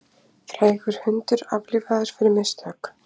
Frægur hundur aflífaður fyrir mistök